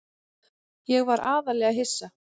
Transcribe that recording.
Ég var aðallega hissa.